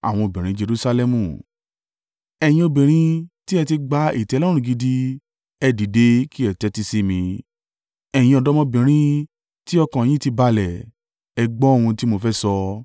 Ẹ̀yin obìnrin tí ẹ ti gba ìtẹ́lọ́rùn gidi ẹ dìde kí ẹ tẹ́tí sí mi, ẹ̀yin ọ̀dọ́mọbìnrin tí ọkàn yín ti balẹ̀, ẹ gbọ́ ohun tí mo fẹ́ sọ!